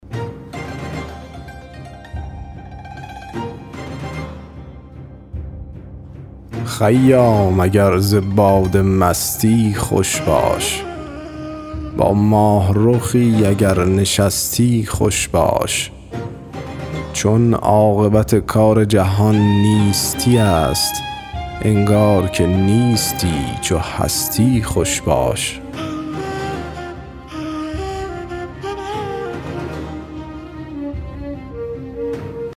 خیام اگر ز باده مستی خوش باش با ماهرخی اگر نشستی خوش باش چون عاقبت کار جهان نیستی است انگار که نیستی چو هستی خوش باش